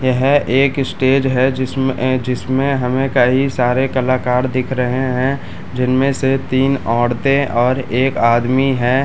यह एक स्टेज है जिसमें ऐ जिसमें हमें कई सारे कलाकार दिख रहें हैं जिनमें से तीन औरतें और एक आदमी है।